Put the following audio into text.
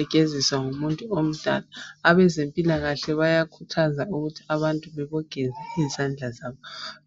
egeziswa ngumuntu omdala abezempilakahle bayakhuthaza ukuthi abantu bebogeza izandla zabo